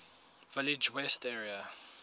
village west area